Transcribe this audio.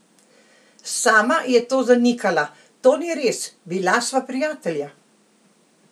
Sama je to zanikala: "To ni res, bila sva prijatelja.